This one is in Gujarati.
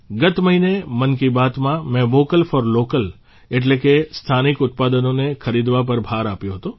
ગત મહિને મન કી બાતમાં મેં વોકલ ફોર લોકલ એટલે કે સ્થાનિક ઉત્પાદનોને ખરીદવા પર ભાર આપ્યો હતો